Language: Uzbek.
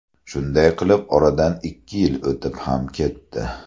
Shunday qilib oradan ikki yil o‘tib ham ketdi.